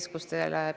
Lugupeetud minister!